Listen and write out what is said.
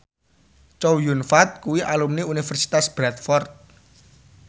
Chow Yun Fat kuwi alumni Universitas Bradford